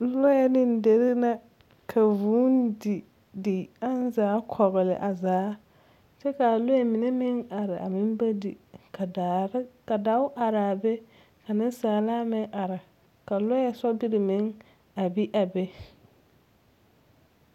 Lɔɛ ne deri na ka vũũ didi aŋ zaa kɔgele a zaa, kyɛ ka alɔɛ mine meŋ are a meŋba di ka daare, ka dao are a be ka nensaalaa meŋ are ka lɔɛ sobiri meŋ a bi a be.